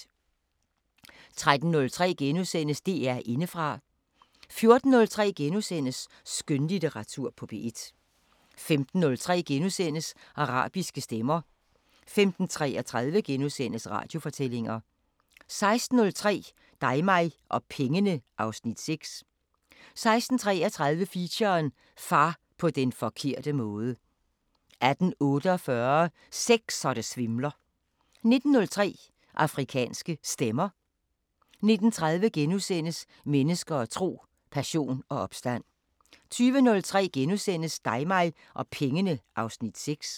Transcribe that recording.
13:03: DR Indefra * 14:03: Skønlitteratur på P1 * 15:03: Arabiske Stemmer * 15:33: Radiofortællinger * 16:03: Dig mig og pengene (Afs. 6) 16:33: Feature: Far på den forkerte måde 18:48: Sex så det svimler 19:03: Afrikanske Stemmer 19:30: Mennesker og tro: Passion og opstand * 20:03: Dig mig og pengene (Afs. 6)*